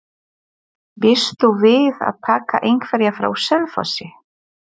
Býstu við að taka einhverja frá Selfossi?